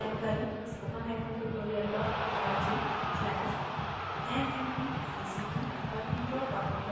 इस मिशन पर